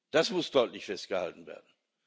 Das muss deutlich festgehalten werden.